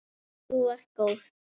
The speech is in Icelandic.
Þú ert góð!